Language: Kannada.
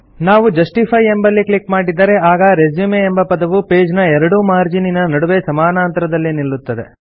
ನಾವು ಜಸ್ಟಿಫೈ ಎಂಬಲ್ಲಿ ಕ್ಲಿಕ್ ಮಾಡಿದರೆ ಆಗ ರೆಸ್ಯೂಮ್ ಎಂಬ ಪದವು ಪೇಜ್ ನ ಎರಡೂ ಮಾರ್ಜೀನಿನ ನಡುವೆ ಸಮಾನಾಂತರದಲ್ಲಿ ನಿಲ್ಲುತ್ತದೆ